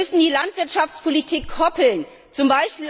Wir müssen die Landwirtschaftspolitik z.